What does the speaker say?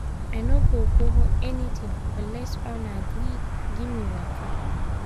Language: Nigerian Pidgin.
i no go borrow anything unless owner gree give me waka.